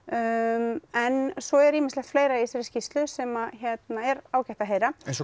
en svo er ýmislegt fleira í þessari skýrslu sem er ágætt að heyra eins og